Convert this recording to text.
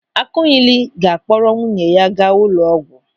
Akụnyịlị ga-akpọrọ nwunye ya gaa ụlọ ọgwụ.